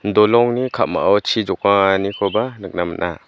dolongni ka·mao chi jokanganikoba nikna man·a.